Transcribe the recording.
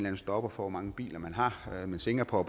en stopper for hvor mange biler man har men singapore